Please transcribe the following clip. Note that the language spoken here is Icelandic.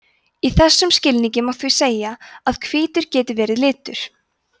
í þessum skilningi má því segja að hvítur geti verið litur